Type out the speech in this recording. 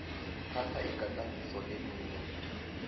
thatha igadangiso lemino